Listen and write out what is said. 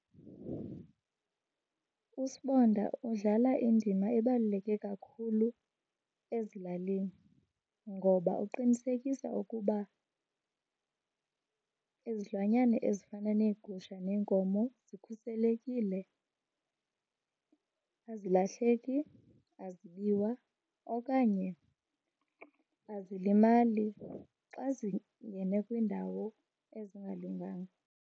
USibonda udlala indima ebaluleke kakhulu ezilalini ngoba uqinisekisa ukuba izilwanyana ezifana neegusha neenkomo zikhuselekile. Azilahleki, azibiwa okanye azilimali xa zingene kwiindawo ezingalunganga.